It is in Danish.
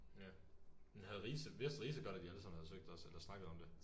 Ja. Men havde Riise vidste Riise godt at i alle sammen havde søgt også eller snakkket om det?